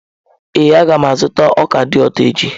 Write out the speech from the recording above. Ee, a ga m azụta ọka dị ụtọ echi.